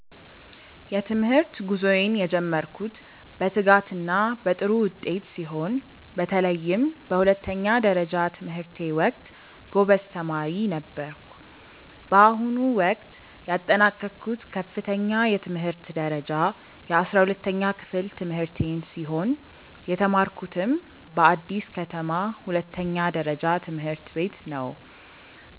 የትምህርት ጉዞዬን የጀመርኩት በትጋትና በጥሩ ውጤት ሲሆን፣ በተለይም በሁለተኛ ደረጃ ትምህርቴ ወቅት ጎበዝ ተማሪ ነበርኩ። በአሁኑ ወቅት ያጠናቀቅኩት ከፍተኛ የትምህርት ደረጃ የ12ኛ ክፍል ትምህርቴን ሲሆን፣ የተማርኩትም በአዲስ ከተማ ሁለተኛ ደረጃ ትምህርት ቤት ነው።